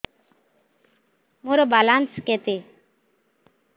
ମୋର ବାଲାନ୍ସ କେତେ